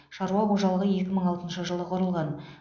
шаруа қожалығы екі мың алтыншы жылы құрылған